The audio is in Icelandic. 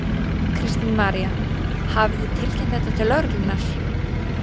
Kristín María: Hafið þið tilkynnt þetta til lögreglunnar?